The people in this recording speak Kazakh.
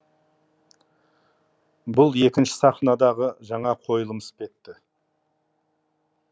бұл екінші сахнадағы жаңа қойылым іспетті